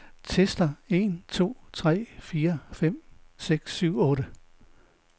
Tester en to tre fire fem seks syv otte.